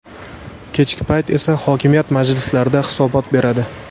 Kechki payt esa hokimiyat majlislarida hisobot beradi.